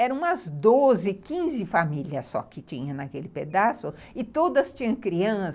Eram umas doze, quinze famílias só que tinha naquele pedaço e todas tinham criança.